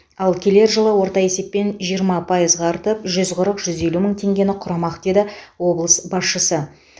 ал келер жылы орта есеппен жиырма пайызға артып жүз қырық жүз елу мың теңгені құрамақ деді облыс басшысы